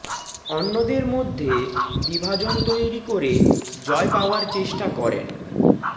অন্যদের মধ্যে বিভাজন তৈরি করে জয় পাওয়ার চেষ্টা করেন